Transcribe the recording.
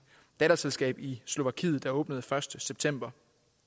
datterselskab i slovakiet der åbnede første september